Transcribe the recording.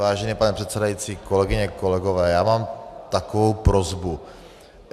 Vážený pane předsedající, kolegyně, kolegové, já mám takovou prosbu.